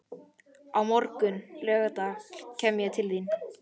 Á morgun, laugardag, kem ég til þín.